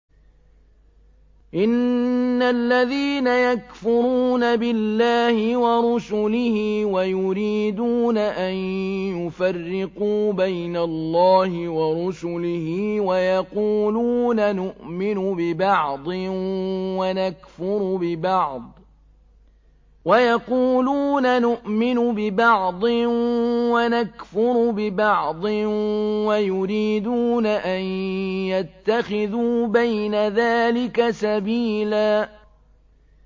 إِنَّ الَّذِينَ يَكْفُرُونَ بِاللَّهِ وَرُسُلِهِ وَيُرِيدُونَ أَن يُفَرِّقُوا بَيْنَ اللَّهِ وَرُسُلِهِ وَيَقُولُونَ نُؤْمِنُ بِبَعْضٍ وَنَكْفُرُ بِبَعْضٍ وَيُرِيدُونَ أَن يَتَّخِذُوا بَيْنَ ذَٰلِكَ سَبِيلًا